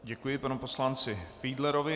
Děkuji panu poslanci Fiedlerovi.